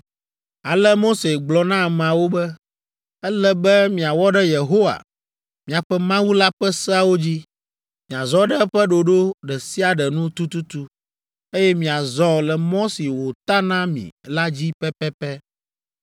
Ale Mose gblɔ na ameawo be, “Ele be miawɔ ɖe Yehowa, miaƒe Mawu la ƒe seawo dzi, miazɔ ɖe eƒe ɖoɖo ɖe sia ɖe nu tututu, eye miazɔ le mɔ si wòta na mi la dzi pɛpɛpɛ.